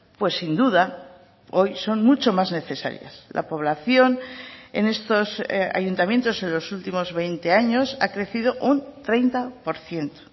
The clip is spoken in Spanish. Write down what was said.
pues sin duda hoy son mucho más necesarias la población en estos ayuntamientos en los últimos veinte años ha crecido un treinta por ciento